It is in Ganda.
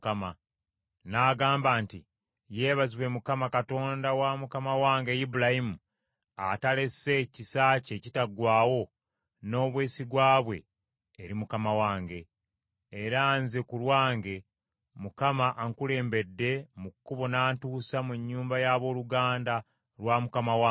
N’agamba nti, “Yeebazibwe Mukama Katonda wa mukama wange Ibulayimu atalese kisa kye ekitaggwaawo n’obwesigwa bwe eri mukama wange. Era nze ku lwange Mukama ankulembedde mu kkubo n’antuusa mu nnyumba ya booluganda lwa mukama wange.”